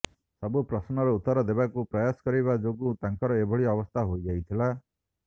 ସବୁ ପ୍ରଶ୍ନର ଉତ୍ତର ଦେବାକୁ ପ୍ରୟାସ କରିବା ଯୋଗୁ ତାଙ୍କର ଏଭଳି ଅବସ୍ଥା ହୋଇଯାଇଥିଲା